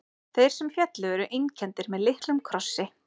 Þeir sem féllu eru einkenndir með litlum krossi.